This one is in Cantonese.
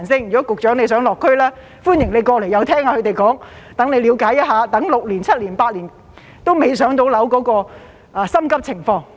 如果局長想落區，歡迎過來聽一聽他們的說話，了解一下他們等候6年、7年、8年還未"上樓"的心急情況。